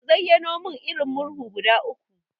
Ka zayyano mun irin Murhu guda uku?